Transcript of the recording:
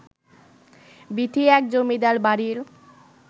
বীথি এক জমিদারবাড়ির